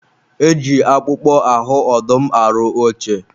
e ji akpụkpọ ahụ ọdụm arụ oche.